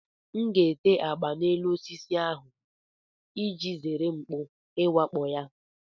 M ga-ete agba n'elu osisi ahụ iji zere mkpú iwakpo ya